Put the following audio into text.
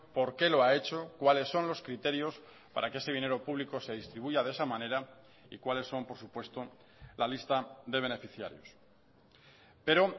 por qué lo ha hecho cuáles son los criterios para que ese dinero público se distribuya de esa manera y cuáles son por supuesto la lista de beneficiarios pero